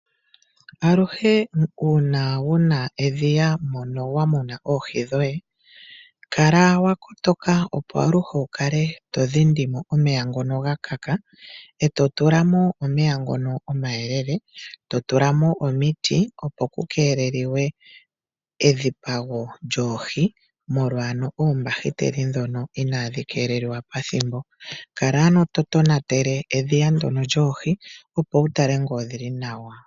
Aluhe uuna wu na edhiya mono wa muna oohi dhoye, kala wa kotoka opo aluhe wu kale to dhindi mo omeya ngono ga kaka, e to tula mo omeya ngono omayelele, to tula mo omiti opo ku keelelwe edhipago lyoohi molwa oombahiteli ndhono inaandi keelelwa pethimbo. Kala ano to tonatele edhiya ndyono lyoohi opo wu tale ngele odhi li nawa.